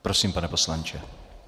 Prosím, pane poslanče.